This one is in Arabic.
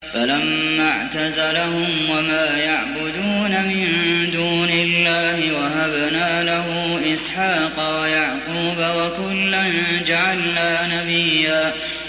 فَلَمَّا اعْتَزَلَهُمْ وَمَا يَعْبُدُونَ مِن دُونِ اللَّهِ وَهَبْنَا لَهُ إِسْحَاقَ وَيَعْقُوبَ ۖ وَكُلًّا جَعَلْنَا نَبِيًّا